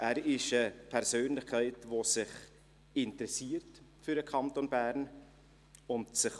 Er ist eine Persönlichkeit, die sich für den Kanton Bern interessiert.